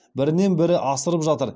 бірінен бірі асырып жатыр